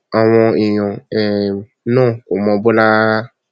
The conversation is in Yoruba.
àwọn èèyàn um náà kò mọ bọlá rárá